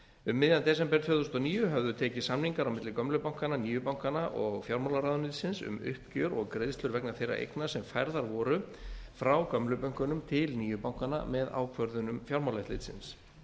um miðjan desember tvö þúsund og níu höfðu tekist samningar á milli gömlu bankanna nýju bankanna og fjármálaráðuneytisins um uppgjör og greiðslur vegna þeirra eigna sem færðar voru frá gömlu bönkunum til nýju bankanna með ákvörðunum fjármálaeftirlitsins